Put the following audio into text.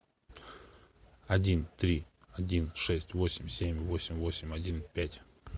один три один шесть восемь семь восемь восемь один пять